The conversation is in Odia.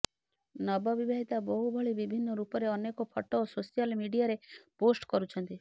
ନବ ବିବାହିତା ବୋହୂ ଭଳି ବିଭିନ୍ନ ରୂପରେ ଅନେକ ଫଟୋ ସୋସିଆଲ ମିଡିଆରେ ପୋଷ୍ଟ କରୁଛନ୍ତି